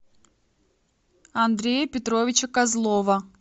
андрея петровича козлова